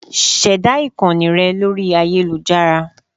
Ṣẹ̀dá ìkànnì rẹ lórí ayélujára